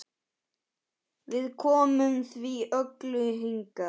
Við komum því öllu hingað.